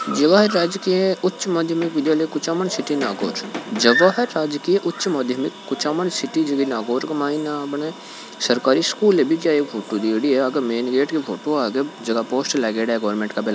जवाहर राज्य के उच्च माध्यमिक कुचमन सिटी नागौर का कुछ जगह राज्य की उच्च माध्यम के कुचामन सिटी में सरकारी स्कुल बीजे फोटो कप्म्लेट मेन गेट के फोटो आगे पोस्टर लगा है गवर्मेंट की--